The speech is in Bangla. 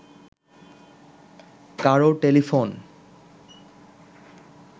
কারও টেলিফোন